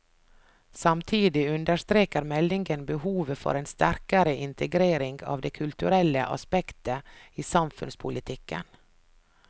Samtidig understreker meldingen behovet for en sterkere integrering av det kulturelle aspektet i samfunnspolitikken.